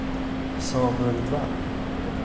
Samuel Wall